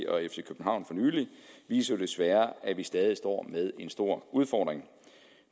og fc københavn viser jo desværre at vi stadig står med en stor udfordring